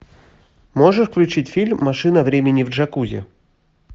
можешь включить фильм машина времени в джакузи